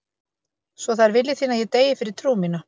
Svo það er vilji þinn að ég deyi fyrir trú mína.